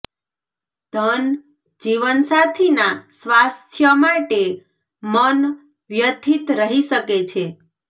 ધનઃ જીવનસાથીના સ્વાસ્થ્ય માટે મન વ્યથિત રહી શકે છે